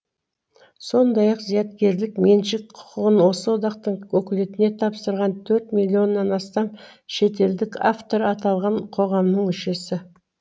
сондай ақ зияткерлік меншік құқығын осы одақтың өкілеттігіне тапсырған төрт миллионнан астам шетелдік автор аталған қоғамның мүшесі